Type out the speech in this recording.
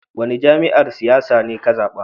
Wani jami'yyar siyasa ne ka zaba?